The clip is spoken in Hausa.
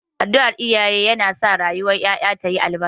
Addu'ar iyaye yana sa rayuwar yara ya yi albarka.